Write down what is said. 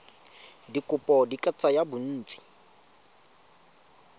dikopo di ka tsaya bontsi